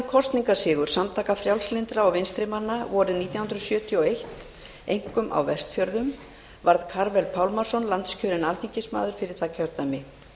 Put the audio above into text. kosningasigur samtaka frjálslyndra og vinstrimanna vorið nítján hundruð sjötíu og eitt einkum á vestfjörðum varð karvel pálmason landskjörinn alþingismaður fyrir það kjördæmi